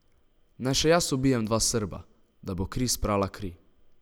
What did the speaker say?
Naj še jaz ubijem dva Srba, da bo kri sprala kri?